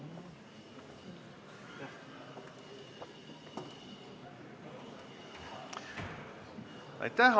Aitäh!